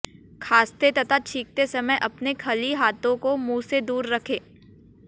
खांसते तथा छींकते समय अपने खली हाथों को मुंह से दूर रखें